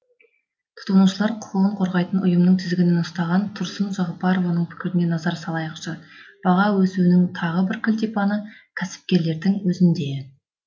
тұтынушылар құқығын қорғайтын ұйымның тізгінін ұстаған тұрсын жағыпарованың пікіріне назар салайықшы баға өсуінің тағы бір кілтипаны кәсіпкерлердің өзінде